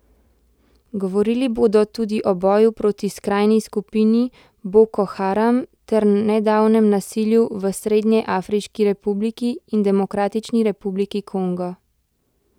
Govorili bodo tudi o boju proti skrajni skupini Boko Haram ter nedavnem nasilju v Srednjeafriški republiki in Demokratični republiki Kongo.